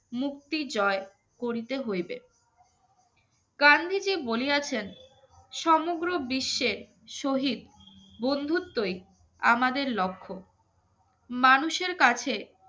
মুক্তি জয় করিতে হইবে গান্ধীজি বলিয়াছেন সমগ্র বিশ্বের শহীদ বন্ধুত্বই আমাদের লক্ষ্য মানুষের কাছে